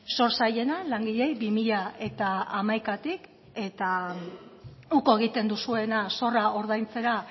zor zaiena langileei bi mila hamaikatik eta uko egiten duzuena zorra ordaintzera